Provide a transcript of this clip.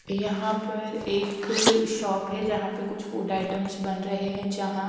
यहां पर एक शॉप है जहां पे कुछ फूड आइटम्स बन रहे है जहां--